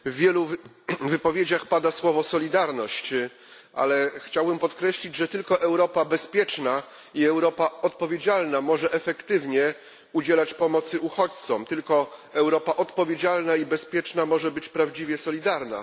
Panie Przewodniczący! W wielu wypowiedziach pada słowo solidarność, ale chciałbym podkreślić, że tylko Europa bezpieczna i Europa odpowiedzialna może efektywnie udzielać pomocy uchodźcom. Tylko Europa odpowiedzialna i bezpieczna może być prawdziwie solidarna.